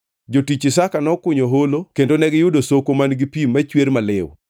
Jotich Isaka nokunyo holo kendo negiyudo soko man-gi pi machwer maliw.